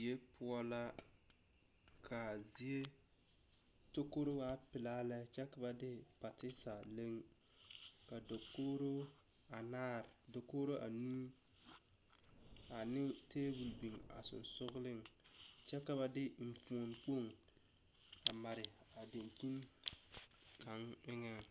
Doe poɔ la kaa zie tokoro waa bile pilaa lɛ ka na de pateesa leŋ ka tepuuri are ka dakograa naare nuu ane tabol biŋ a sɔgsɔgliŋ kyɛ ka ba de eŋfuo kpoŋ a mare a daŋkyin kaŋ eŋaŋ.